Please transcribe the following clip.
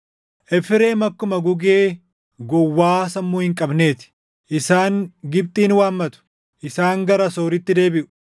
“Efreem akkuma gugee gowwaa sammuu hin qabnee ti; isaan Gibxin waammatu; isaan gara Asooritti deebiʼu.